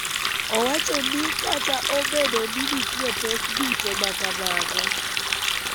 owacho ni kata obedo ni nitie pek duto ma kamago,